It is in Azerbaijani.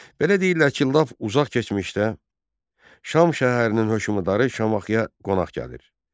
Belə deyirlər ki, lap uzaq keçmişdə Şam şəhərinin hökmdarı Şamaxıya qonaq gəlir.